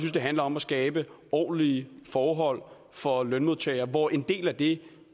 det handler om at skabe ordentlige forhold for lønmodtagere hvor en del af det